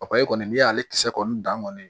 kɔni n'i y'ale kisɛ kɔni dan kɔni